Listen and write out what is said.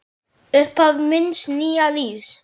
Upphaf míns nýja lífs.